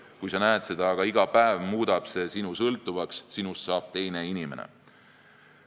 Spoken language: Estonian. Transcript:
Kui sa näed seda aga iga päev, muudab see sinu sõltuvaks, sinust saab teine inimene.